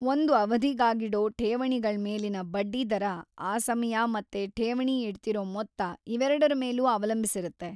ಒಂದು ಅವಧಿಗಾಗಿಡೋ ಠೇವಣಿಗಳ್ಮೇಲಿನ ಬಡ್ಡಿದರ ಆ ಸಮಯ ಮತ್ತೆ ಠೇವಣಿ ಇಡ್ತಿರೋ ಮೊತ್ತ ಇವೆರ್ಡರ ಮೇಲೂ ಅವಲಂಬಿಸಿರುತ್ತೆ